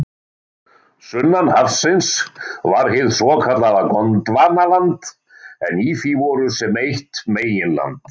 Sunnan hafsins var hið svokallaða Gondvanaland en í því voru sem eitt meginland